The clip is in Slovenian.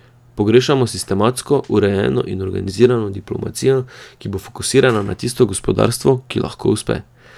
Pogrešamo sistematsko, urejeno in organizirano diplomacijo, ki bo fokusirana na tisto gospodarstvo, ki lahko uspe.